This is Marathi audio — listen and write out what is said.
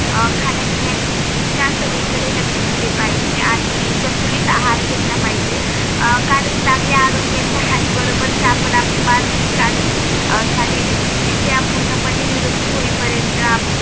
खाण्यापिण्याच्या सवीइ कडे लक्ष दिले पाहिजे आणि संतुलित आहार घेतला पाहिजे कारण चांगल्या आरोग्याच्या हानी बरोबर च आपण आपली मानसिक अनि शारीरिक दृष्ट्या पूर्णपणे निरोगी होई पॅरेत